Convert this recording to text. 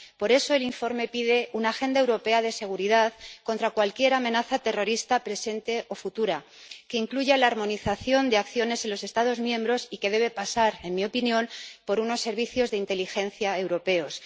Por eso, el informe pide una agenda europea de seguridad contra cualquier amenaza terrorista presente o futura, que incluya la armonización de acciones en los Estados miembros y que debe pasar, en mi opinión, por unos servicios de inteligencia europeos.